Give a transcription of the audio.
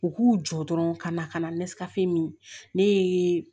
U k'u jɔ dɔrɔn ka na ka na nesɛgɛ min ne ye